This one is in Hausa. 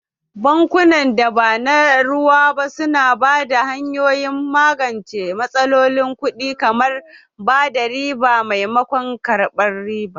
Bankunan da ba na ruwa ba su na ba da hanyoyin magance matsalolin kuɗi, kamar raba riba maimakon karɓar riba.